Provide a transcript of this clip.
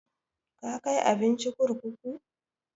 Ka kai abinci kurkuku?